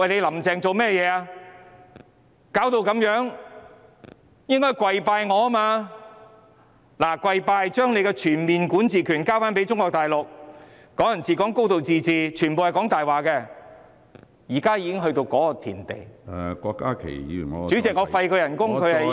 弄成這個樣子，應該向他跪拜才對，並且要將全面管治權交給中國大陸，"港人治港"、"高度自治"全部都是謊言，現在已經到了這個地步......